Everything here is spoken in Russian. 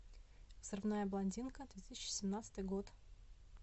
взрывная блондинка две тысячи семнадцатый год